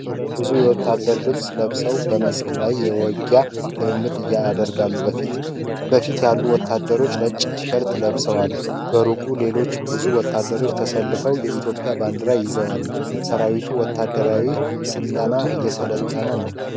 ብዙ ሰዎች የወታደር ልብስ ለብሰው በመስክ ላይ የውጊያ ልምምድ ያደርጋሉ። በፊት ያሉት ወታደሮች ነጭ ቲሸርት ለብሰዋል። በሩቅ ሌሎች ብዙ ወታደሮች ተሰልፈው የኢትዮጵያ ባንዲራን ይዘዋል፡፡ ሰራዊቱ ወታደራዊ ስልጠና እየሰለጠነ ነው።